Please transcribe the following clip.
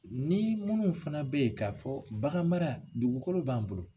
Ni munnu fana bɛ yen k'a fɔ bagan mara dugukolo b'an bolo.